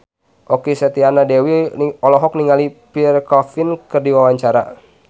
Okky Setiana Dewi olohok ningali Pierre Coffin keur diwawancara